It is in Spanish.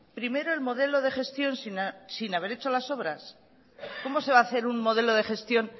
primero el modelo de gestión sin haber hecho las obras cómo se va a hacer un modelo de gestión